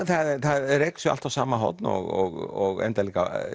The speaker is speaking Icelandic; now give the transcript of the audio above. það er rekið sig alltaf í sama horn og endar líka